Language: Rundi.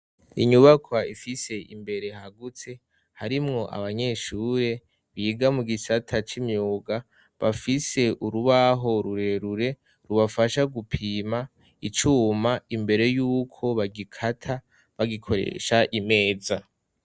Inyubakwa ifise imbere hagutse harimwo abanyeshure biga mu gisata c'imyuga bafise urubaho rurerure rubafasha gupima icuma imbere y'uko bagikata bagikoresha imeza.